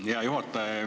Aitäh, hea juhataja!